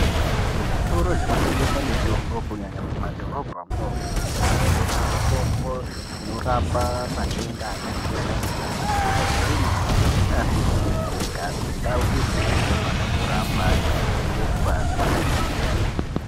Muzvitoro zvinotengesa mitoro kunyanya mumadhorobha mwomwo munotengeswa mitombo inorapa matenda akasiyana siyana akajairika neasikujairikapi ,ndau idzi dzinofanira kuramba dzeichengetwa dzakachena .